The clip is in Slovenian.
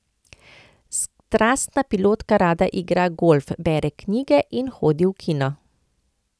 Strastna pilotka rada igra golf, bere knjige in hodi v kino.